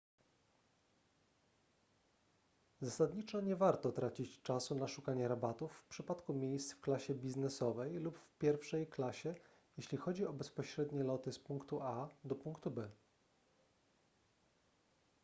zasadniczo nie warto tracić czasu na szukanie rabatów w przypadku miejsc w klasie biznesowej lub w pierwszej klasie jeśli chodzi o bezpośrednie loty z punktu a do punktu b